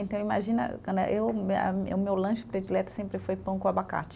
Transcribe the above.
Então, imagina, né, eu a mi, o meu lanche predileto sempre foi pão com abacate.